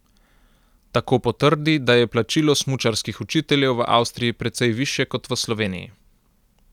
Tako potrdi, da je plačilo smučarskih učiteljev v Avstriji precej višje kot v Sloveniji.